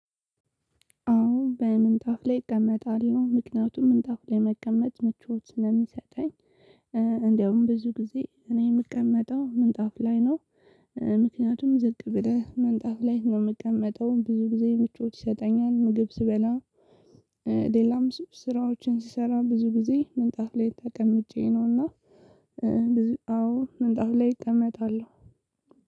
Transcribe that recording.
አዎ በምንጣፍ ላይ እቀመጣለሁ ምክንያቱም ምንጣፍ ላይ መቀመጥ ምቾት ስለሚሰጠኝ። እንደውም ብዙ ጊዜ እኔ የምቀመጠው ምንጣፍ ላይ ነው። ምክንያቱም ዝቅ ብለህ ምንጣፍ ላይ ነው ምቀመጠው ብዙ ጊዜ ምቾት ይሰጠኛል ምግብ ስበላ። ሌላም ስራዎችን ስሰራ ብዙ ጊዜ ምንጣፍ ላይ ተቀምጬ ነውና። ብዙ አዎ ምንጣፍ ላይ እቀመጣለሁ።